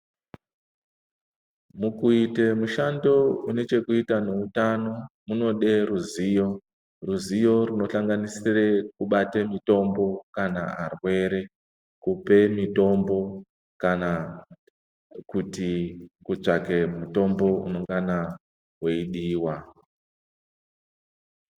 Mukuita mushando inechekuta ngeutano munode ruzivo ruzivo rinohlanganisire kubate mutombo kana varwere kupe mutombo kana kuti kutsvake mutombo unonganewediwa